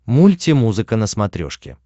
мульти музыка на смотрешке